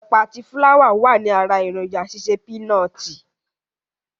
Ẹ̀pà àti fúláwà wàní ara èròǹjà ṣíṣe pínọtì.